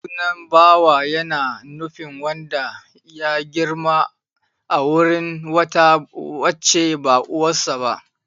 Sunan Bawa ya na nufin wanda ya girma a wurin wata wacce ba uwarsa ba.